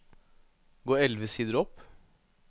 Gå elleve sider opp